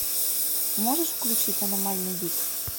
можешь включить аномальный вид